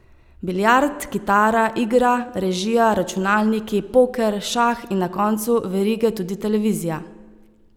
Biljard, kitara, igra, režija, računalniki, poker, šah in na koncu verige tudi televizija.